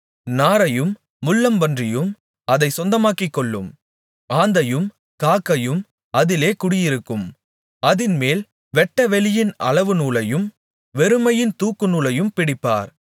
நாரையும் முள்ளம்பன்றியும் அதைச் சொந்தமாக்கிக்கொள்ளும் ஆந்தையும் காக்கையும் அதிலே குடியிருக்கும் அதின்மேல் வெட்டவெளியின் அளவுநூலையும் வெறுமையின் தூக்குநூலையும் பிடிப்பார்